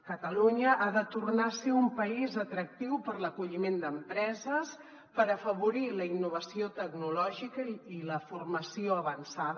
catalunya ha de tor·nar a ser un país atractiu per a l’acolliment d’empreses per afavorir la innovació tec·nològica i la formació avançada